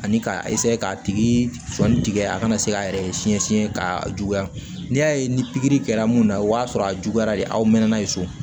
Ani k'a k'a tigi sɔni tigɛ a kana se k'a yɛrɛ siɲɛ siɲɛ ka juguya n'i y'a ye ni pikiri kɛra mun na o y'a sɔrɔ a juguyara de aw mɛnna n'a ye so